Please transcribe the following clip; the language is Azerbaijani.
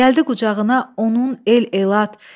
Gəldi qucağına onun el-elat.